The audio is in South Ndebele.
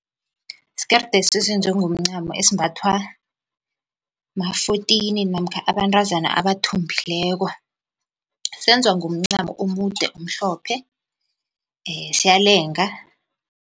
Skeride lesi esenziwe ngomncamo esimbathwa ma-fourteen namkha abantazana abathombileko, senzwa ngomncamo omude omhlophe siyalenga.